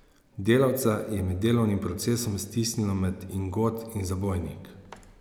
Delavca je med delovnim procesom stisnilo med ingot in zabojnik.